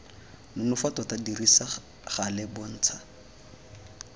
nonofo tota dirisa gale bontsha